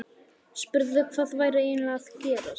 Spurði hvað væri eiginlega að gerast.